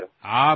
হয় চাৰ